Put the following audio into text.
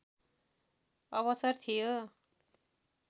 अवसर थियो